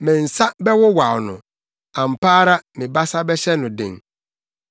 Me nsa bɛwowaw no; ampa ara me basa bɛhyɛ no den.